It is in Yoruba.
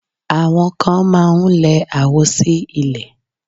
Àwọn kan máá ń lẹ àwo sí ilẹ̀